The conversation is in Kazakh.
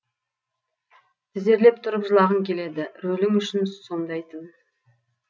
тізерлеп тұрып жылағың келеді рөлің үшін сомдайтын